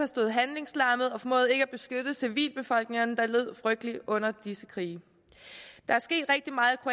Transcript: stod handlingslammet og formåede ikke at beskytte civilbefolkningerne der led frygteligt under disse krige der er sket rigtig meget